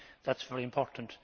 That is very important.